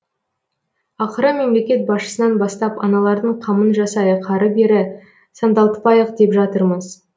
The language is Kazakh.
ақыры мемлекет басшысынан бастап аналардың қамын жасайық ары бері сандалтпайық деп жатырмыз